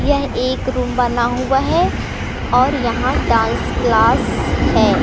यह एक रूम बना हुआ है और यहां डांस क्लास है।